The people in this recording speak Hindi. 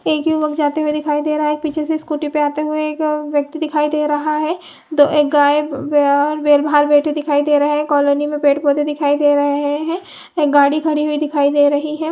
एक युवक जाते हुए दिखाई दे रहा है एक पीछे से स्कूटी पे आते हुए एक व्यक्ति दिखाई दे रहा है दो एक गाय ब और बैल बाहर बैठे दिखाई दे रहे है कॉलोनी में पेड़ -पौधे दिखाई दे रहे है एक गाड़ी खड़ी हुई दिखाई दे रही हैं।